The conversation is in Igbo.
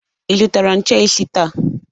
Ị zụtara nche isi taa?